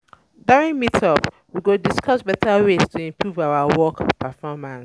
um During meet-up, we go discuss um beta ways to improve our work um performance.